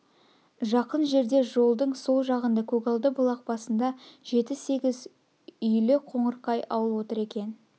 жақын жерде жолдың сол жағында көгалды бұлақ басында жеті-сегіз үйл қоңырқай ауыл отыр екен